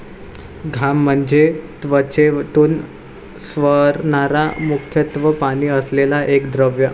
घाम म्हणजे त्वचेतून स्रवणारा मुख्यतः पाणी असलेला एक द्रव.